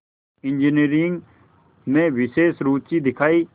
engineering में विशेष रुचि दिखाई